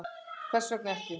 Hvers vegna ekki?